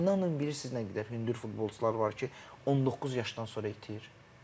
İnanın bilirsiniz nə qədər hündür futbolçular var ki, 19 yaşdan sonra itir.